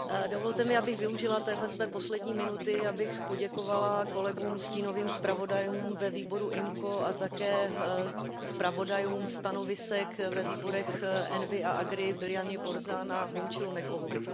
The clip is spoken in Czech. Dovolte mi, abych využila téhle své poslední minuty, abych poděkovala kolegům, stínovým zpravodajům ve výboru IMCO a také zpravodajům stanovisek ve výborech ENVI a AGRI, Biljaně Borzanové a Momchilu Nekovovi.